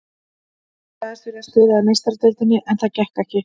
Ég sagðist vilja spila í Meistaradeildinni en það gekk ekki.